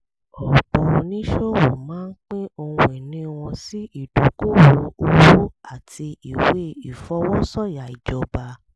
ọ̀pọ̀ oníṣòwò máa ń pín ohun ìní wọn sí ìdókòwò owó àti ìwé ìfọwọ́sọ̀yà ìjọba